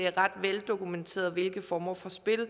er ret veldokumenteret hvilke former for spil